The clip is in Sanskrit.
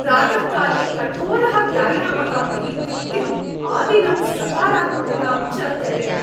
प्रातःकाले कठोरः व्यायामः मयि तृप्तिम्, आदिनं सकारात्मकतां च जनयति।